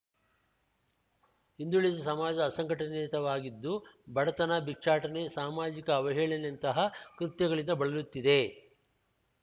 ಹಿಂದುಳಿದ ಸಮಾಜ ಅಸಂಘಟಿತವಾಗಿದ್ದು ಬಡತನ ಭಿಕ್ಷಾಟನೆ ಸಾಮಾಜಿಕ ಅವಳಹೇಳನೆಯಂತಹ ಕೃತ್ಯಗಳಿಂದ ಬಳಲುತ್ತಿದೆ